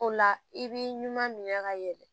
O la i b'i ɲuman minɛ ka yɛlɛ